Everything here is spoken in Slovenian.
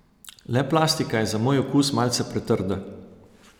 Le plastika je za moj okus malce pretrda.